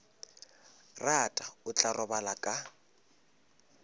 rata o tla robala ka